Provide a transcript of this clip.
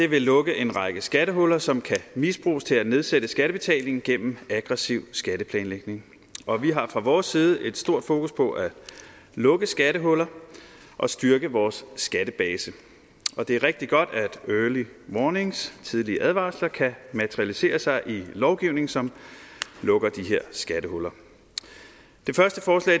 vil lukke en række skattehuller som kan misbruges til at nedsætte skattebetalingen gennem aggressiv skatteplanlægning og vi har fra vores side et stort fokus på at lukke skattehuller og styrke vores skattebase og det er rigtig godt at early warnings tidlige advarsler kan materialisere sig i lovgivning som lukker de her skattehuller